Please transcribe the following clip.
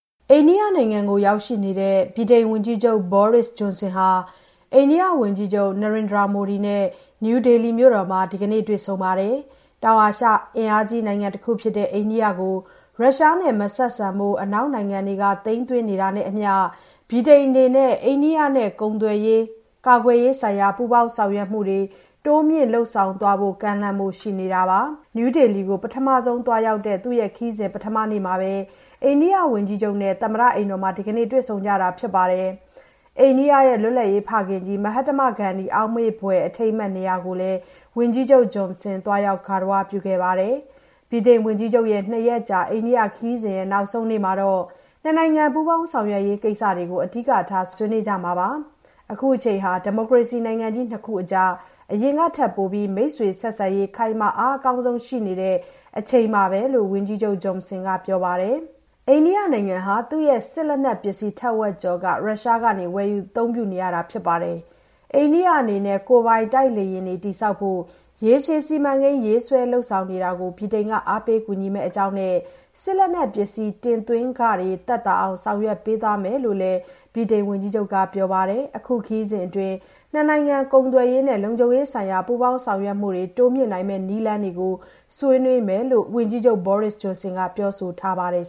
အိန္ဒိယနိုင်ငံမှာရောက်နေတဲ့ ဗြိတိန်ဝန်ကြီးချုပ် ဘောရစ်စ် ဂျွန်ဆင်ဟာ အိန္ဒိယဝန်ကြီးချုပ် နေရိန်ဒရာမိုဒီနဲ့ နယူးဒေလီမြို့တော်မှာ ဒီကနေ့ တွေ့ဆုံပါတယ်။ တောင် အာရှ အင်အားကြီးနိုင်ငံတခုဖြစ်တဲ့ အိန္ဒိယကို ရုရှားနဲ့မဆက်ဆံဖို့ အနောက်နိုင်ငံတွေက သိမ်းသွင်းနေတာနဲ့အမျှ ဗြိတိန်အနေနဲ့ အိန္ဒိယနဲ့ ကုန်သွယ်ရေးနဲ့ ကာကွယ်ရေးဆိုင်ရာ ပူးပေါင်းဆောင်ရွက်မှုတွေ တိုးမြှင့် လုပ်ဆောင်သွားဖို့ကိစ္စ ကမ်းလှမ်းဖို့ ရှိနေတာပါ။ နယူးဒေလီမြို့ကို ပထမဆုံးအကြိမ် လာရောက်တဲ့ သူ့ခရီးစဉ် ပထမနေ့မှာပဲ အိန္ဒိယဝန်ကြီးချုပ် မိုဒီနဲ့ သမ္မတအိမ်တော်မှာ ဒီကနေ့ တွေ့ဆုံကြတာဖြစ်ပြီး အိန္ဒိယရဲ့ လွတ်လပ်ရေးဖခင်ကြီး မဟတ္တမဂန္ဒီ အောက်မေ့ဘွယ် အထိမ်းအမှတ်နေရာကိုလည်း ဝန်ကြီးချုပ် ဂျွန်ဆင် သွားရောက် ဂါရဝပြုပါတယ်။ ဗြိတိန်ဝန်ကြီးချုပ်ရဲ့ နှစ်ရက်ကြာ အိန္ဒိယခရီးစဉ် နောက်ဆုံးနေ့မှာတော့ နှစ်နိုင်ငံ ပူးပေါင်း ဆောင်ရွက်ရေးကိစ္စတွေကို အဓိက ဆွေးနွေးကြမှာပါ။ အခုချိန်ဟာ ဒီမိုကရေစီနိုင်ငံကြီးနှစ်ခုကြား အရင်ကထက်ပိုပြီး မိတ်ဆွေ ဆက်ဆံရေး ခိုင်မာ အားအကောင်းဆုံး ရှိနေတဲ့အချိန်ပါပဲလို့ ဝန်ကြီးချုပ်ဂျွန်ဆင်က ပြောပါတယ်။ အိန္ဒိယနိုင်ငံဟာ သူ့ရဲ့ စစ်လက်နက်ပစ္စည်း ထက်ဝက်ကျော်ကို ရုရှားကနေ ဝယ်ယူအသုံးပြုနေတာဖြစ်ပါတယ်။ အိန္ဒိယအနေနဲ့ ကိုယ်ပိုင် တိုက်လေယာဉ်တွေတည်ဆောက်ဖို့ ရေရှည်စီမံကိန်း ရေးဆွဲလုပ်ဆောင်နေတာကို ဗြိတိန်က အားပေးကူညီမယ့် အကြောင်းနဲ့ စစ်လက်နက်ပစ္စည်း တင်သွင်းခတွေ သက်သာအောင် ဆောင်ရွက်ပေးသွားမယ်လို့လည်း ဗြိတိန်ဝန်ကြီးချုပ်က ပြောပါတယ်။ အခု ခရီးစဉ်အတွင်း နှစ်နိုင်ငံ ကုန်သွယ်ရေးနဲ့ လုံခြုံရေးဆိုင်ရာ ပူးပေါင်း ဆောင်ရွက်မှုတွေ တိုးမြှင့်နိုင်မယ့် နည်းလမ်းတွေကို ဆွေးနွေးမယ်လို့ ဝန်ကြီးချုပ် ဘောရစ်စ် ဂျွန်န်ဆင်က ပြောဆိုထားပါတယ်